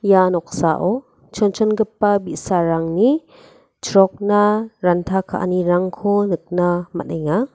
ia noksao chonchongipa bi·sarangni chrokna ranta ka·anirangko nikna man·enga.